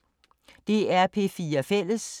DR P4 Fælles